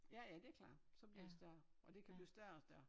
Ja ja det klart så bliver det større og det kan blive større og større